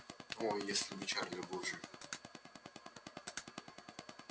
о если бы чарли был жив